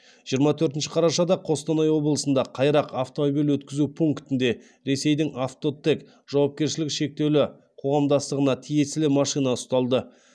жиырма төртінші қарашада қостанай облысында қайрақ автомобиль өткізу пунктінде ресейдің авто тек жауапкершілігі шектеулі қоғамдастығына тиесілі машина ұсталды